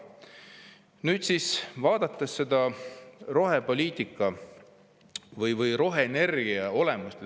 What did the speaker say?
Nüüd, vaatame seda rohepoliitika või roheenergia olemust.